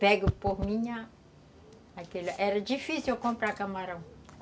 Pego por minha... Era difícil eu comprar camarão.